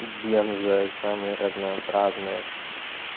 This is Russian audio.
бензо самые разнообразные